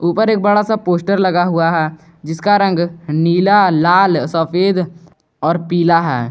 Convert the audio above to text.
पर एक बड़ा सा पोस्टर लगा हुआ है जिसका रंग नीला लाल सफेद और पीला है।